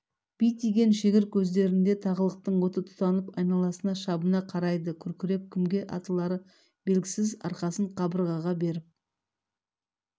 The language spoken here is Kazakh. бітиген шегір көздерінде тағылықтың оты тұтанып айналасына шабына қарайды күркіреп кімге атылары белгісіз арқасын қабырғаға беріп